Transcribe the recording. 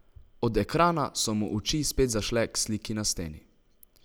Od ekrana so mu oči spet zašle k sliki na steni.